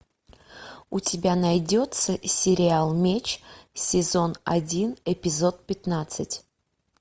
у тебя найдется сериал меч сезон один эпизод пятнадцать